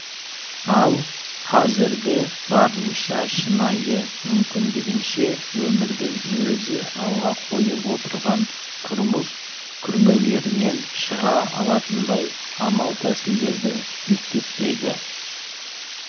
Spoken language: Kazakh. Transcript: ал қазіргі барынша шынайы мүмкіндігінше өмірдің өзі алға қойып отырған тұрмыс күрмеулерінен шыға алатындай амал-тәсілдердің мектептегі